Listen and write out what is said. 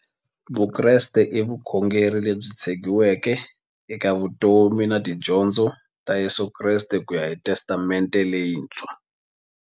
Vukreste i vukhongeri lebyi tshegiweke eka vutomi na tidyondzo ta Yesu Kreste kuya hi Testamente leyintshwa.